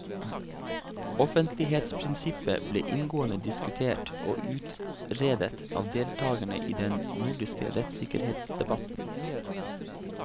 Offentlighetsprinsippet ble inngående diskutert og utredet av deltakerne i den nordiske rettssikkerhetsdebatten.